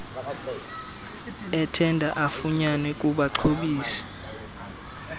ethenda afunyenwe kubaxhobisi